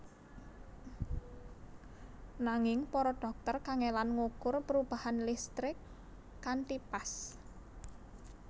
Nanging para dhokter kangelan ngukur perubahan listrik kanthi pas